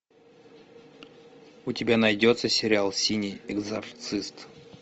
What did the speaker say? у тебя найдется сериал синий экзорцист